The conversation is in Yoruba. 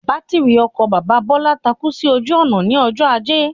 Bátìrì ọkọ̀ bàbá Bọ́lá takú sí ojú ònà ní ọjọ́ ajé